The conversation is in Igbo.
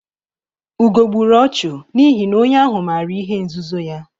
Ugo gburu ọchụ n'ihi na onye ahụ maara ihe nzuzo ya.